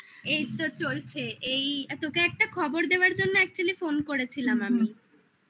এই তো চলছে এই তোকে একটা খবর দেওয়ার জন্য actually phone করেছিলাম আমি